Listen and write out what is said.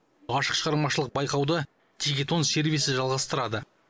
ашық шығармашылық байқауды тикетон сервисі жалғастырады